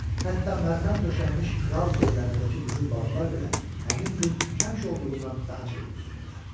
Hətta mərmər döşənmiş kral göllərindəki qızıl balıqlar belə həmin gün həmişə olduğundan daha çevik üzürdülər.